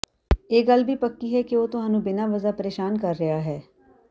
ਇਹ ਗੱਲ ਵੀ ਪੱਕੀ ਹੈ ਕਿ ਉਹ ਤੁਹਾਨੂੰ ਬਿਨ੍ਹਾਂ ਵਜ਼ਾ ਪ੍ਰੇਸ਼ਾਨ ਕਰ ਰਹੇ ਹਾਂ